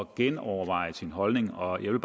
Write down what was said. genoverveje sin holdning og jeg